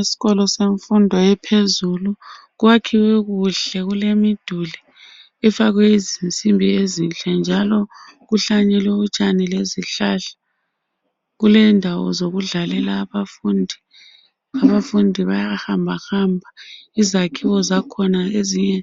Esikolo semfundo ephezulu kwakhiwe kuhle kulemiduli efakwe izinsimbi ezinhle njalo kuhlanyelwe utshani lezihlahla kulendawo zokudlalela abafundi abafundi bayahambahamba izakhiwo zakhona ezinye